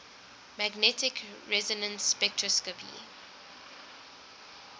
magnetic resonance spectroscopy